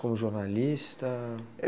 Como jornalista?